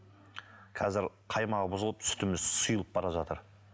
қазір қаймағы бұзылып сүтіміз сұйылып бара жатыр